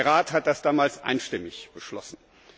Der Rat hat das damals einstimmig beschlossen.